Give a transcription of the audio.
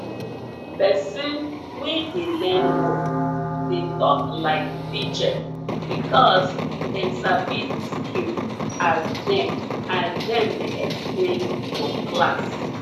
person wey dey learn work dey talk like teacher because dem sabi di skill as dem as dem dey explain for class